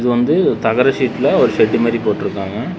இது வந்து தகர சீட்ல ஒரு செட்டு மாரி போட்ருக்காங்க.